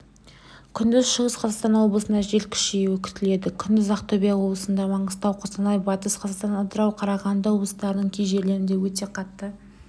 күндіз шығыс қазақстан облысында жел күшеюі күтіледі күндіз ақтөбе облысында маңғыстау қостанай батыс қазақстан атырау қарағанды облыстарының кей жерлерінде өте қатты